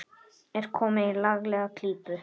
Er komin í laglega klípu.